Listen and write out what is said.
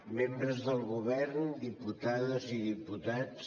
membres del govern diputades i diputats